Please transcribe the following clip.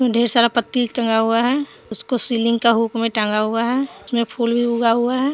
ढेर सारा पत्ती टंगा हुआ है उसको सीलिंग का हुक में टांगा हुआ है उसमें फूल उगा हुआ है।